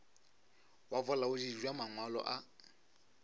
wa bolaodi bja mangwalo a